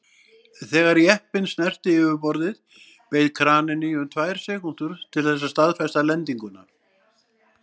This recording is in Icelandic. Þegar jeppinn snerti yfirborðið beið kraninn í um tvær sekúndur til þess að staðfesta lendinguna.